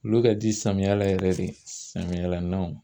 Olu ka di samiya la yɛrɛ de samiyala